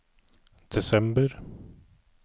desember